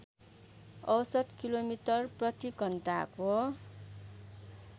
औसत किलोमिटर प्रतिघण्टाको